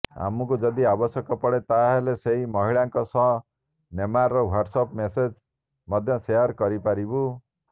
ଆମକୁ ଯଦି ଆବଶ୍ୟକ ପଡ଼େ ତାହେଲେ ସେହି ମହିଳାଙ୍କ ସହ ନେମାରଙ୍କ ହ୍ୱାଟ୍ସଆପ୍ ମେମେଜ୍ ମଧ୍ୟ ସେୟାର କରିପାରିବୁ